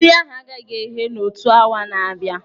Nri ahụ agaghị eghe n'otu awa na-abịa.